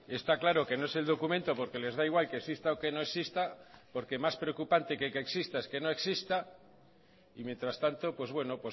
está claro que no es el documento porque les da igual que exista o que no exista porque más preocupante que que exista es que no exista y mientras tanto pues bueno